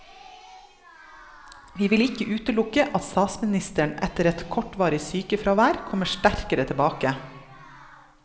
Vi vil ikke utelukke at statsministeren etter et kortvarig sykefraværet kommer sterkere tilbake.